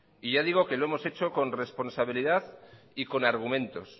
y ya digo que los hemos hecho con responsabilidad y con argumentos